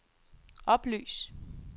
oplys